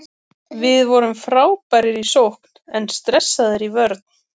Við vorum frábærir í sókn en stressaðir í vörn.